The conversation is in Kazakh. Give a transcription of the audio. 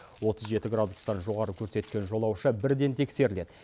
отыз жеті градустан жоғары көрсеткен жолаушы бірден тексеріледі